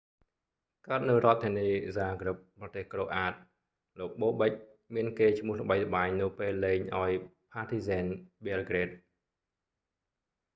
កើតនៅរដ្ឋធានីហ្សាហ្គ្រិប zagreb ប្រទេសក្រូអាត croatia លោកបូបិក bobek មានកេរ្តិ៍ឈ្មោះល្បីល្បាញនៅពេលលេងឱ្យផាធីហ្ស៊ែន ប៊ែលហ្គ្រេត partizan belgrade